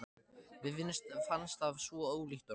Mér fannst það svo ólíkt honum.